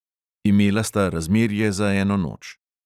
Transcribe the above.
Imela sta razmerje za eno noč.